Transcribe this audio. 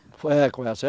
Foi, é, com essa.